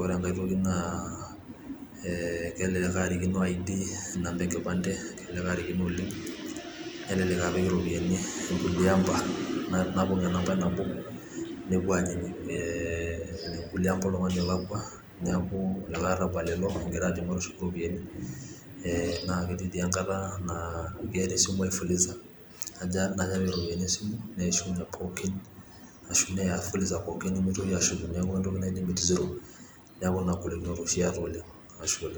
ore engai toki naa kelelek arikino ID, inamba enkipante kelelek arikino oleng, nelelek apik iropiyiani ingulie amba napong enambai nabo nepuo ajing' kulie amba oltungani leeking'a ,neeku likae arabal ilo egira ajo matushuku iropiyiani netii angata naa keeta esimwai fuliza najo apik iropiyiani esimu neishunye pooki ashu neya fuliza pooki nimitoki aashuku neeku limit siro.